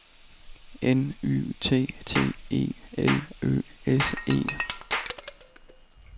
N Y T T E L Ø S E